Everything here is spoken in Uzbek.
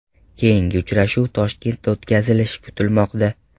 Keyingi uchrashuv Toshkentda o‘tkazilishi kutilmoqda.